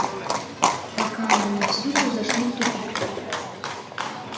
пока они всюду зашли в тупик